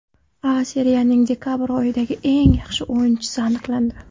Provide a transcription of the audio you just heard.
A Seriyaning dekabr oyidagi eng yaxshi o‘yinchisi aniqlandi.